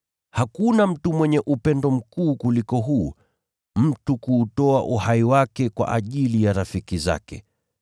Hakuna mtu mwenye upendo mkuu kuliko huu, mtu kuutoa uhai wake kwa ajili ya rafiki zake.